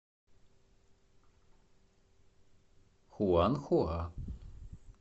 хуанхуа